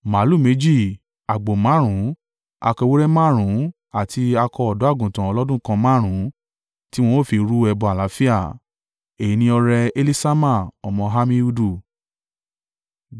màlúù méjì, àgbò márùn-ún, akọ ewúrẹ́ márùn-ún àti akọ ọ̀dọ́-àgùntàn ọlọ́dún kan márùn-ún, tí wọn ó fi rú ẹbọ àlàáfíà. Èyí ni ọrẹ Eliṣama ọmọ Ammihudu.